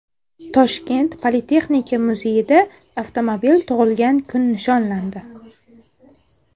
Toshkent politexnika muzeyida avtomobil tug‘ilgan kun nishonlandi.